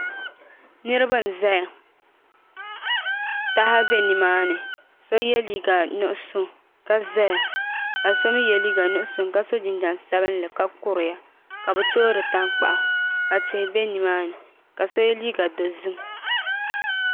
Niraba n ʒɛya taha bɛ nimaani so yɛ liiga nuɣso ka ʒɛya ka so mii yɛ liiga nuɣso ka so jinjɛm sabinli ka kuriya ka bi toori tankpaɣa ka so yɛ liiga dozim